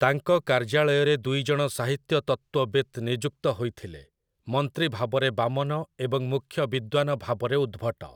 ତାଙ୍କ କାର୍ଯ୍ୟାଳୟରେ ଦୁଇଜଣ ସାହିତ୍ୟ ତତ୍ତ୍ଵବିତ୍ ନିଯୁକ୍ତ ହୋଇଥିଲେ, ମନ୍ତ୍ରୀ ଭାବରେ ବାମନ ଏବଂ ମୁଖ୍ୟ ବିଦ୍ୱାନ ଭାବରେ ଉଦ୍ଭଟ ।